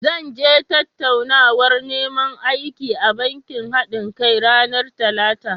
Zan je tattaunawar neman aiki a bankin haɗinka (unity bank) ranar Talata.